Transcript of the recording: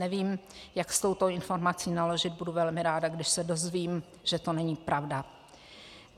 Nevím, jak s touto informací naložit, budu velmi ráda, když se dozvím, že to není pravda.